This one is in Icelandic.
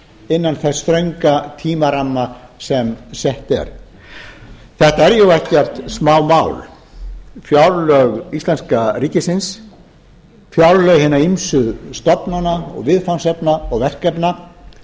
innan þess þrönga tímaramma sem sett er þetta er ekkert smámál fjárlög íslenska ríkisins fjárlög hinna ýmsu stofnana viðfangsefna og verkefna